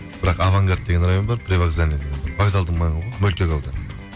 бірақ авангард деген район бар привокзальный деген бар вокзалдың маңы ғой мөлтек ауданы